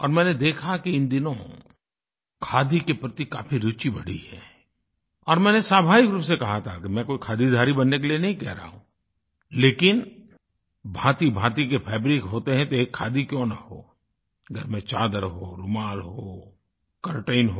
और मैंने देखा कि इन दिनों खादी के प्रति काफ़ी रुचि बढ़ी है और मैंने स्वाभाविक रूप से कहा था कि मैं कोई खादीधारी बनने के लिए नहीं कह रहा हूँ लेकिन भाँतिभाँति के फैब्रिक होते हैं तो एक खादी क्यों न हो घर में चादर हो रूमाल हो कर्टेन हो